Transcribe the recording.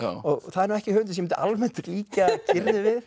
og það er ekki höfundur sem ég myndi almennt líkja Gyrði við